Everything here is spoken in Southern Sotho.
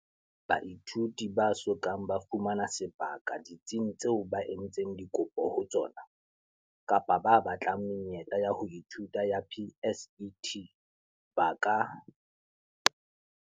Baithuti ba so kang ba fumana sebaka ditsing tseo ba entseng dikopo ho tsona, kapa ba batlang menyetla ya ho ithuta ya PSET, ba ka.